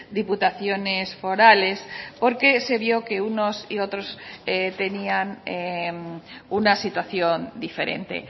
diputaciones forales porque se vio que unos y otros tenían una situación diferente